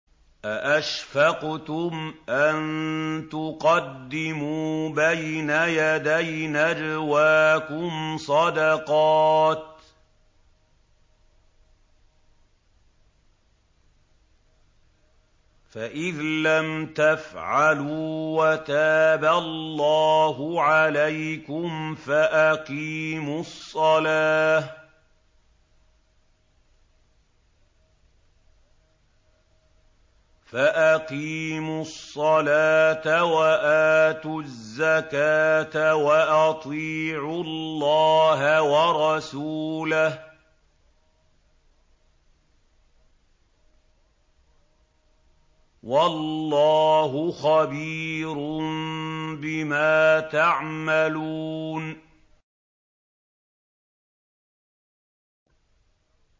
أَأَشْفَقْتُمْ أَن تُقَدِّمُوا بَيْنَ يَدَيْ نَجْوَاكُمْ صَدَقَاتٍ ۚ فَإِذْ لَمْ تَفْعَلُوا وَتَابَ اللَّهُ عَلَيْكُمْ فَأَقِيمُوا الصَّلَاةَ وَآتُوا الزَّكَاةَ وَأَطِيعُوا اللَّهَ وَرَسُولَهُ ۚ وَاللَّهُ خَبِيرٌ بِمَا تَعْمَلُونَ